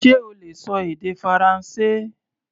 Ṣe o lè ṣọ èdè Faransé?